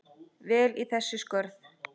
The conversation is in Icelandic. vel í þau skörð?